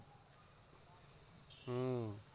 હમ